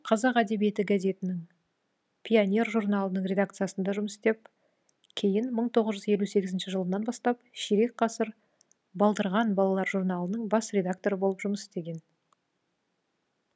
қазақ әдбиеті газетінің пионер журналының редакциясында жұмыс істеп кейін бір мың тоғыз жүз елу сегізінші жылынан бастап ширек ғасыр балдырған балалар журналының бас редакторы болып жұмыс істеген